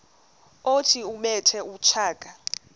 othi ubethe utshaka